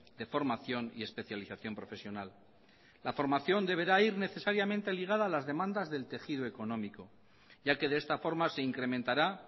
de formación y especialización profesional la formación deberá ir necesariamente ligada a las demandas del tejido económico ya que de esta forma se incrementará